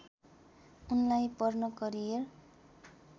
उनलाई पर्न करियर